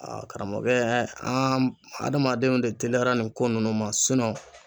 Aa karamɔgɔkɛ an adamadenw de teliyara nin ko nunnu ma sinɔn